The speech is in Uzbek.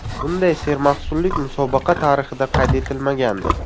Bunday sermahsullik musobaqa tarixida qayd etilmagandi.